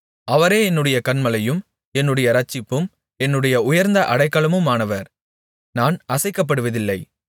அவரே என்னுடைய கன்மலையும் என்னுடைய இரட்சிப்பும் என்னுடைய உயர்ந்த அடைக்கலமுமானவர் நான் அசைக்கப்படுவதில்லை